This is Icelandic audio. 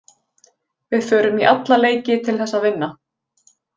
Við förum í alla leiki til þess að vinna.